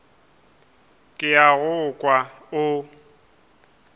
ke a go kwa o